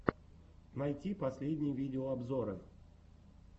найти последние видеообзоры